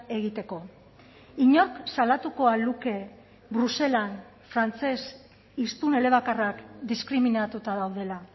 egiteko inork salatuko al luke bruselan frantses hiztun elebakarrak diskriminatuta daudela